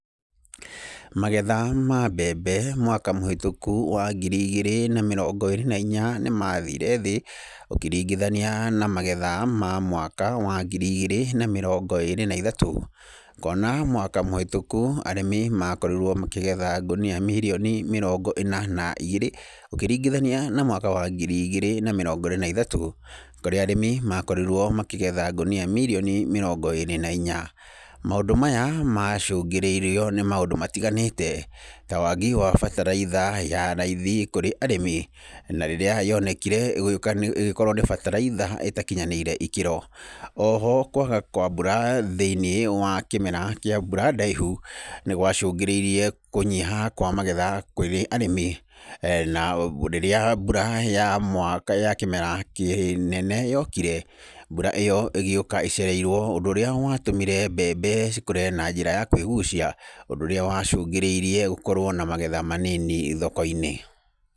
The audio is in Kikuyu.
Magetha ma mbembe mwaka mũhĩtũkũ wa ngiri igĩrĩ na mĩrongo ĩrĩ na inya nĩ mathiire thĩ ũkĩringithania na magetha ma mwaka wa ngiri igĩrĩ na mĩrongo ĩrĩ na ithatũ, kuona mwaka mũhĩtũku arĩmĩ makorirwo makĩgetha ngũnia mirioni mĩrongo ĩna na igĩrĩ, ũkĩringithania na mwaka wa ngiri igĩrĩ na mĩrongo ĩrĩ na ithatu kũrĩa arĩmi makorirwo makĩgetha ngũnia mirioni mĩrongo ĩrĩ na inya. Maũndũ maya macũngĩrĩirio nĩ maũndũ matiganĩte, ta waagi wabataraitha ya raithi kũrĩ arĩmi, na rĩrĩa yonekire ĩgĩkorwo nĩ bataraitha ĩtakinyanĩire ĩkĩro. Oho, kwaga kwa mbura thĩiniĩ wa kĩmera kĩa mbura ndaihu nĩ gwacungĩrĩirie kũnyiha kwa magetha kũrĩ arĩmi, na rĩrĩa mbura ya mwaka , ya kĩmera kĩnene yokire, mbura ĩyo ĩgĩũka ĩcereirwo, ũndũ ũrĩa watũmire mbembe cikũre na njĩra ya kwĩgucia, ũndũ ũrĩa wacũngĩrĩirie gũkorwo na magetha manini thoko-inĩ.